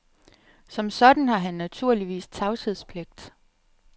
Som sådan har han naturligvis tavshedspligt.